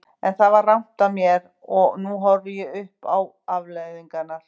En það var rangt af mér og nú horfi ég upp á afleiðingarnar.